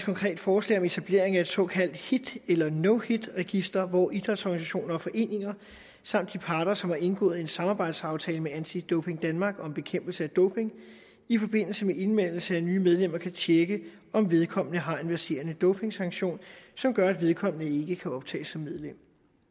konkret forslag om etablering af et såkaldt hit eller no hit register hvor idrætsorganisationer og foreninger samt de parter som har indgået en samarbejdsaftale med anti doping danmark om bekæmpelse af doping i forbindelse med indmeldelse af nye medlemmer kan tjekke om vedkommende har en verserende dopingsanktion som gør at vedkommende ikke kan optages som medlem